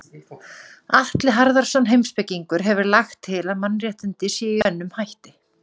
Atli Harðarson heimspekingur hefur lagt til að mannréttindi séu í raun með tvennum hætti.